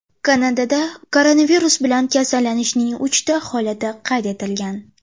Kanadada koronavirus bilan kasallanishning uchta holati qayd etilgan.